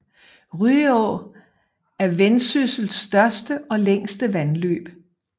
Ryå er Vendsyssels største og længste vandløb